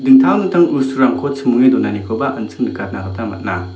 dingtang dingtang bosturangko chimonge donanikoba an·ching nikatna gita man·a.